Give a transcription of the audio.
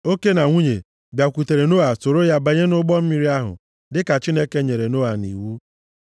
oke na nwunye, bịakwutere Noa soro ya banye nʼụgbọ mmiri ahụ, dịka Chineke nyere Noa nʼiwu.